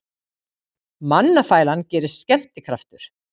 Mannafælan gerist skemmtikraftur